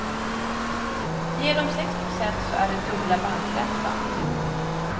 Ger de sex procent så är det dubbla bankräntan.